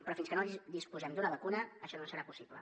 però fins que no disposem d’una vacuna això no serà possible